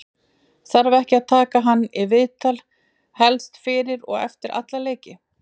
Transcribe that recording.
þarf ekki að taka hann í viðtal helst fyrir og eftir alla leiki?